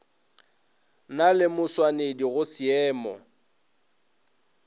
na le mašwanedi go šeemo